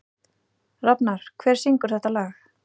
Rafnar, hver syngur þetta lag?